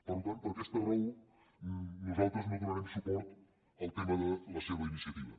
per tant per aquesta raó nosaltres no donarem suport al tema de la seva iniciativa